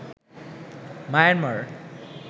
Myanmar